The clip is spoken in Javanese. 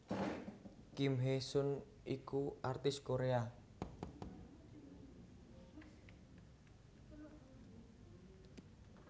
Kim Hee sun iku aktris Korea